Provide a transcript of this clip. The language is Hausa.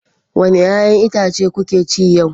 Wani 'ya'yan itace kuke ci yau?